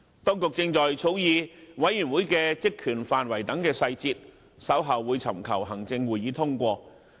當局正在草擬調查委員會的職權範圍等細節，並於稍後尋求行政會議通過。